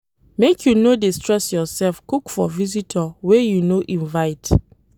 Make you no dey stress yoursef cook for visitor wey you no invite.